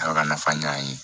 Ala ka nafa ɲa ye